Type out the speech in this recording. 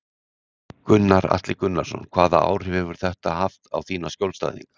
Gunnar Atli Gunnarsson: Hvaða áhrif hefur þetta haft á þína skjólstæðinga?